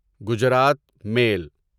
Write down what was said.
Gujarat میل